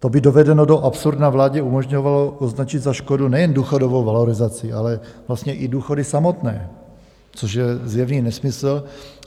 To by dovedeno do absurdna vládě umožňovalo označit za škodu nejen důchodovou valorizaci, ale vlastně i důchody samotné, což je zjevný nesmysl.